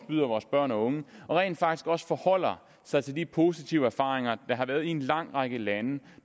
byder vores børn og unge og rent faktisk også forholder sig til de positive erfaringer der har været i en lang række lande